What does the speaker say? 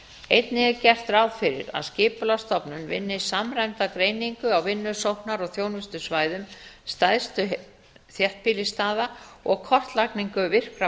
einnig er gert ráð fyrir að skipulagsstofnun vinni samræmda greiningu á vinnusóknar og þjónustusvæðum stærstu þéttbýlisstaða og kortlagningu virkra